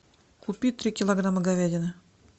купи три килограмма говядины